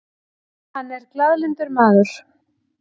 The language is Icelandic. Hann er glaðlyndur maður.